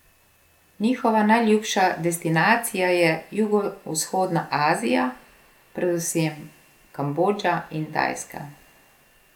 Njihova najljubša destinacija je jugovzhodna Azija, predvsem Kambodža in Tajska.